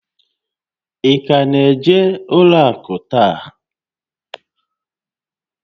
Ị ka na-eje n'ụlọ akụ taa?